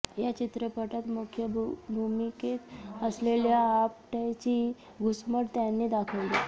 या चित्रपटात मुख्य भूमिकेत असलेल्या आपटेची घुसमट त्याने दाखवली